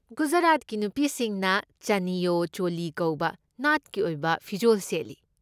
ꯒꯨꯖꯔꯥꯠꯀꯤ ꯅꯨꯄꯤꯁꯤꯡꯅ ꯆꯅꯤꯌꯣ ꯆꯣꯂꯤ ꯀꯧꯕ ꯅꯥꯠꯀꯤ ꯑꯣꯏꯕ ꯐꯤꯖꯣꯜ ꯁꯦꯠꯂꯤ꯫